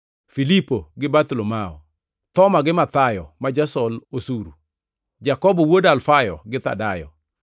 Filipo gi Bartholomayo; Thoma gi Mathayo ma jasol osuru; Jakobo wuod Alfayo, gi Thadayo;